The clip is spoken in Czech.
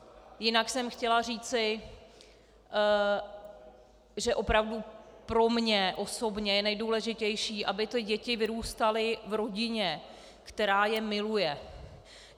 Jinak jsem chtěla říci, že opravdu pro mě osobně je nejdůležitější, aby ty děti vyrůstaly v rodině, která je miluje.